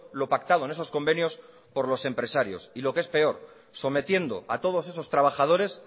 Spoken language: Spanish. lo pactado en esos convenios por los empresarios y lo que es peor sometiendo a todos esos trabajadores